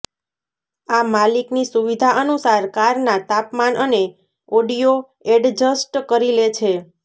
આ માલિકની સુવિધા અનુસાર કારનાં તાપમાન અને ઓડિયો એડજસ્ટ કરી લે છે